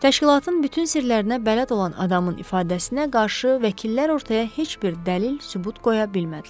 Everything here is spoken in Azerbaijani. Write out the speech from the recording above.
Təşkilatın bütün sirlərinə bələd olan adamın ifadəsinə qarşı vəkillər ortaya heç bir dəlil-sübut qoya bilmədilər.